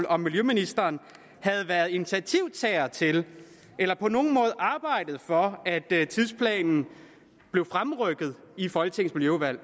om miljøministeren havde været initiativtager til eller på nogen måde arbejdet for at tidsplanen blev fremrykket i folketingets miljøudvalg